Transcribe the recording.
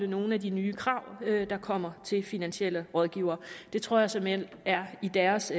nogen af de nye krav der kommer til finansielle rådgivere det tror jeg såmænd er i deres